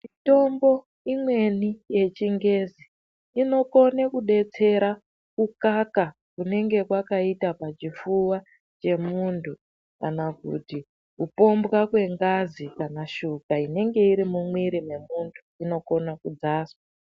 Mitombo imweni yechingezi inokone kudetsera kukaka kunenge kwakaita pachipfuva chemuntu kana kuti kupombwa kwengazi kana shuka inenge iri mumwiri mwemuntu inokone kudzaswa .